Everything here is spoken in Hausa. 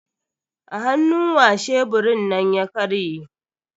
A hannu wa sheburin nan ya karye?